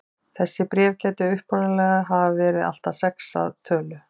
Þessi bréf gætu upprunalega hafa verið allt að sex að tölu.